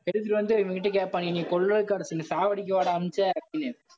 எடுத்துட்டு வந்து, இவங்க கிட்ட கேப்பாங்க என்னைய கொல்றதுக்காடா சொல்லி சாவடிக்கவாடா அமிச்ச அப்பிடின்னு